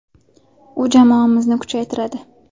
U jamoamizni kuchaytiradi.